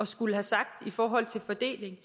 skulle have sagt i forhold til fordeling